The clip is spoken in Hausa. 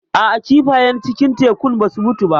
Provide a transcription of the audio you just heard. A'a kifayen cikin tekun ba su mutu ba.